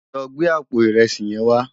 Lò gbé àpó irèsí yèn wá